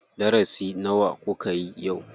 Darasi nawa kukayi yau?